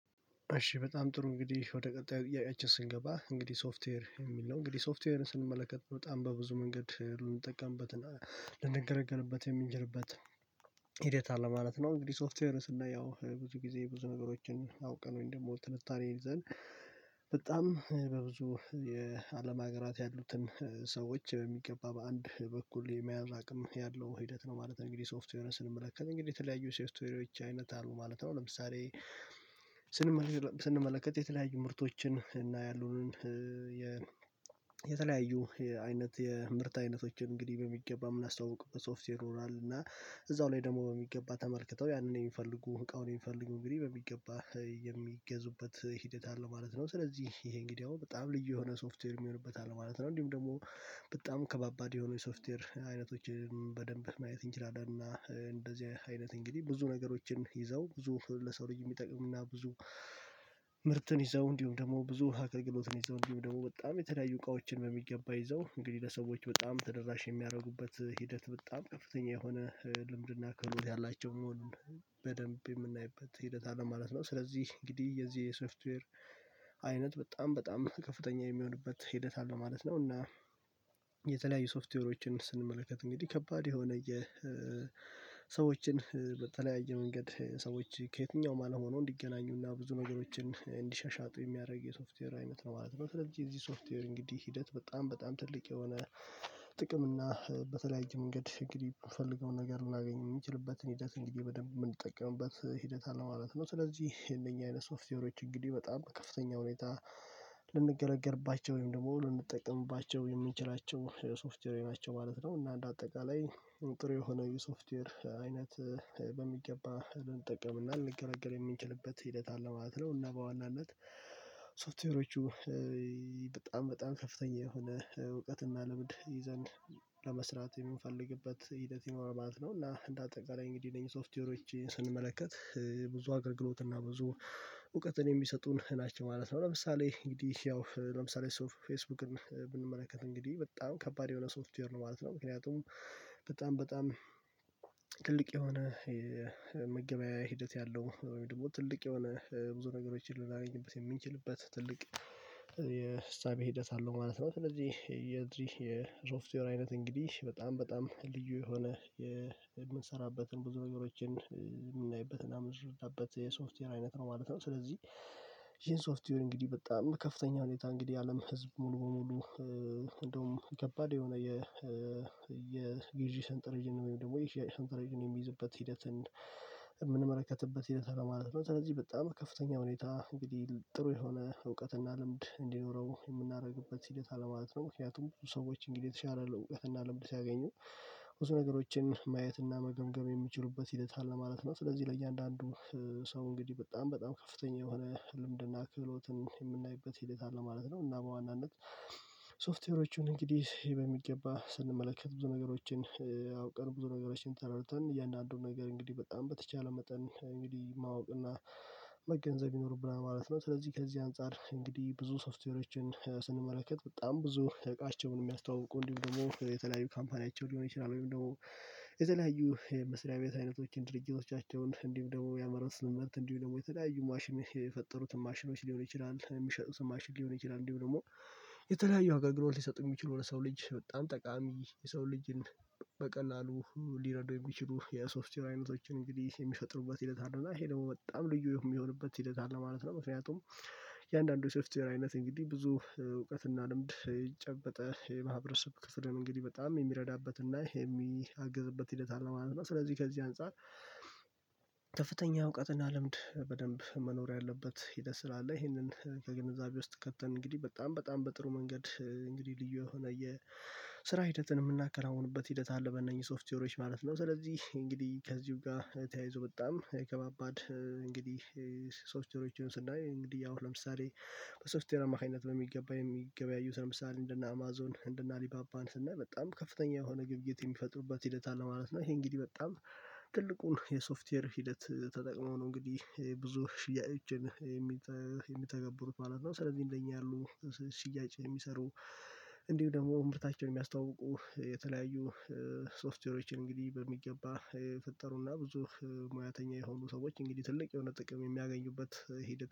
እሺ በጣም ጥሩ እንግዲህ ወደ ቀጣዩ ጥያቄአችን ስንገባ እንግዲህ ሶፍትዌር የሚል ነው እንግዲህ ሶፍትዌርን ስንመለከት በጣም በብዙ መንገድ ልንጠቀምበት እና ልንገለገልበት የምንችልበት ሂደት አለ ማለት ነው። እንግዲህ ሶፍትዌር ስናየው ብዙ ጊዜ ብዙ ነገሮችን አውቀን ወይመ ደግሞ ትንታኔ ይዘን በጣም በብዙ የአለም ሀገራት ያሉትን ሰዎች በሚገባ በአንድ በኩል የመያዝ አቅም ያለው ሂደት ነው። ማለት እንግዲህ ሶፍትዌር ስንመለከት እንግዲህ የተለያዩ ሶፍትዌሪዎች አይነት አሉ ማለት ነው። ለምሳሌ ስንመለከት የተለያዩ ምርቶችን እና ያሉንን የተለያዩ አይነት የምርት አይነቶችን እንግዲህ በሚገባም የምንአስተዋውቅበት በሶፍትዌር ሆናል እና እዛው ላይ ደግሞ በሚገባ ተመልክተው ያንን የሚፈልጉ እቃውን የሚፈልጉ እንግዲህ በሚገባ የሚገዙበት ሂደት አለ ማለት ነው። ስለዚህ ይሄ እንግዲህ አሁን በጣም ልዩ የሆነ ሶፍትዌር የሚሆንበት አለ ማለት ነው። እንዲሁም ደግሞ በጣም ከባባድ የሆነ የሶፍትዌር አይነቶችን በደንብ ማየት እንችላለን እና እንደዚህ አይነት እንግዲህ ብዙ ነገሮችን ይዘው ብዙ ለሰው ልጅ የሚጠቅም እና ብዙ ምርትን ይዘው እንዲሁም ደግሞ ብዙ አክልግሎትን ይዘው እንዲሁም ደግሞ በጣም የተለያዩ እቃዎችን በሚገባ ይዘው እንግዲህ ለሰዎች በጣም ተደራሽ የሚያደርጉበት ሂደት በጣም ከፍተኛ የሆነ ልምድና ክህሎት ያላቸው መሆኑን በደንብ የምናይበት ሂደት አለ ማለት ነው። ስለዚህ እንግዲህ የዚህ የሰፍትዌር አይነት በጣም በጣም ከፍተኛ የሚሆንበት ሂደት አለ ማለት ነው። እና የተለያዩ ሶፍትዌሮችን ስንመለከት እንግዲህ ከባድ የሆነ የሰዎችን በተለያየ መንገድ ሰዎች ከየትኛውም አልሆነው እንዲገናኙና ብዙ ነገሮችን እንዲሸሻጡ የሚያደርግ የሶፍትዌር አይነት ነው ማለት ነው። ስለዚህ የዚህ ሶፍትዌር እንግዲህ ሂደት በጣም በጣም ትልቅ የሆነ ጥቅም እና በተለያየ መንገድ እንግዲህ የምፈልገውን ነገር ልናገኝ የምንችልበትን ሂደት እንግዲህ በደንብ የምንጠቀምበት ሂደት አለ ማለት ነው። ስለዚህ የነኚህ አይነት ሶፍትዌሮች እንግዲህ በጣም ከፍተኛ ሁኔታ ልንገለገልባቸው ወይም ደግሞ ልንጠቀምባቸው የምንችላቸው የሶፍትዌር ናቸው ማለት ነው። እና እንደ አጠቃላይ ጥሩ የሆነ የሶፍትዌር አይነት በሚገባ ልንጠቀምና ልንገልገል የሚችልበት ሂደት አለ ማለት ነው። እና በዋናነት ሶፍትዌሮቹ በጣም በጣም ከፍተኛ የሆነ እውቀትና ልምድ ይዘን ለመስራት የምንፈልግበት ሂደት ይኖረዋል እና እንደ አጠቃላይ እንግዲህ አነዚህ ሶፍትዌሮች ስንመለከት ብዙ አገልግሎት እና ብዙ እውቀትን የሚሰጡን ናቸው ማለት ነው። ለምሳሌ እንግዲህ ያው ለምሳሌ ፌስቡክን ብንመለከት እንግዲህ በጣም ከባድ የሆነ ሶፍትዌር ነው ማለት ነው። ምክንያቱም በጣም በጣም ትልቅ የሆነ መገበያያ ሂደት ያለው ወይም ደግሞ ትልቅ የሆነ ብዙ ነገሮችን ልናገኝበት የምንችልበት ትልቅ የእሳቢ ሂደት አለው ማለት ነው። ስለዚህ የዚህ የሶፍትዌር አይነት እንግዲህ በጣም በጣም ልዩ የሆነ የምንሰራበትን ብዙ አገሮችን የምናይበትና የምንሰራበት የሶስትዌር አይነት ነው ማለት ነው። ስለዚህ ይሄን ሶፍትዌር እንግዲህ በጣም ከፍተኛ ሁኔታ እንግዲህ አለም ህዝብ ሙሉ ሙሉ እንደውም ከባድ የሆነ የ ሰንጠረዥን ወይም ደግሞ የሽያጭ ሰንጠረዥን የሚይዝበት ሂደትን እምንመለከትበት ይሄ ስራል ማለት ነው። ስለዚህ በጣም ከፍተኛ ሁኔታ እንግዲህ ጥሩ የሆነ እውቀትና ልምድ እንዲኖረው የምናደርግበት ሂደት አለማለት ነው ምክንያቱም ብዙ ሰዎች እንግዲህ የተሻለ እውቀትና ልምድ ሲያገኙ ብዙ ነገሮችን ማየትና መገምገም የሚችሉበት ሂደት አለ ማለት ነው። ስለዚህ ለእያንዳንዱ ሰው እንግዲህ በጣም በጣም ከፍተኛ የሆነ ልምድና ክህሎትን የምናይበት ሂደት አለ ማለት ነው። እና በዋናነት ሶፍትዌሮቹን እንግዲህ ይሄ በሚገባ ስንመለከት ብዙ ነገሮችን አውቀን ብዙ ነገሮችን ተረድተን እያንዳንዱን ነገር እንግዲህ በጣም በተቻለ መጠን እንግዲህ ማወቅ እና መገንዘብ ይኖርብናል ማለት ነው። ስለዚህ ከዚህ አንፃር እንግዲህ ብዙ ሶፍትዌሮችን ስንመለከት በጣም ብዙ እቃቸውን የሚያስተዋውቁ እንዲሁም ደግሞ የተለያዩ ካምፓኒያቸው ሊሆን ይችላል ወይም ደግሞ የተለያዩ መስሪያ ቤት አይነቶችን ድርጅቶቻቸውን እንዲሁ ደግሞ ያመረቱት ስምምት እንዲሁ ደግሞ የተለያዩ ማሽን የፈጠሩትን ማሽኖች ሊሆን ይችላል የሚሸጡትን ማሽን ሊሆን ይችላል እንዲሁም ደግሞ የተለያዩ አገልግሎት ሊሰጥ የሚችሉ ለሰው ልጅ በጣም ጠቃሚ የሰው ልጅን በቀላሉ ሊረዱ የሚችሉ የሶፍትዌር አይነቶችን እንግዲህ የሚፈጥሩበት ሂደት አለ እና ይሄ ደግሞ በጣም ልዩ የሚሆንበት ሂደት አለ ማለት ነው። ምክንያቱም የአንዳንዱ ሶፍትዌር አይነት እንግዲህ ብዙ እውቀትና ልምድ ይጨበጠ የማህበረሰብ ክስርን እንግዲህ በጣም የሚረዳበት እና የሚያግዝበት ሂደት አለ ማለት ነው። ስለዚህ ከዚህ አንፃር ከፍተኛ እውቀትና ልምድ በደንብ መኖር ያለበት ሂደት ስላለ ይህንን ከግንዛቤ ውስጥ ከተን እንግዲህ በጣም በጣም በጥሩ መንገድ እንግዲህ ልዩ የሆነ የስራ ሂደትን የምናከናውንበት ሂደት አለ በእነኚህ ሶፍትዌሮች ማለት ነው። ስለዚህ እንግዲህ ከዚሁ ጋር ተያይዞ በጣም ከባባድ እንግዲህ ሶስት ቴሮችን ስናይ እንግዲህ ያው ለምሳሌ በሶፍትዌር አማካኝነት በሚገባ የሚገበያዩት ለምሳሌ እንደነ አማዞን እንደነ አሊባባን ስናል በጣም ከፍተኛ የሆነ ግብይት የሚፈጥሩበት ሂደት አለ ማለት ነው። ይሄ እንግዲህ በጣም ትልቁን የሶፍትዌር ሂደት ተጠቅመው ነው እንግዲህ ብዙ ሽያጭን የሚተገብሩት ማለት ነው። ስለዚህ እንደኛ ያሉ ሽያጭ የሚሰሩ እንዲሁ ደግሞ እምርታቸውን የሚያስተዋውቁ የተለያዩ ሶፍትዌሮችን እንግዲህ በሚገባ የፈጠሩና ብዙ ሙያተኛ የሆኑ ሰዎች እንግዲህ ትልቅ የሆነ ጥቅም የሚያገኙበት ሂደት